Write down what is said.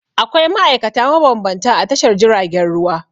Akwai ma'aikata mabambanta a Tashar jiragen ruwa.